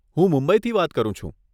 હું મુંબઈથી વાત કરું છું.